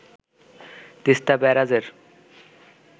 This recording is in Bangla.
তিস্তা ব্যারাজের